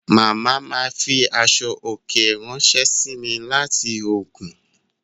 Màmá ma fi aṣọ òkè ráńṣẹ́ sí mi láti Ògùn